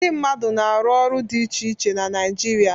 Ndị mmadụ na-arụ ọrụ dị iche iche na Naịjirịa.